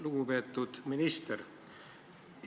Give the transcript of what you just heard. Lugupeetud minister!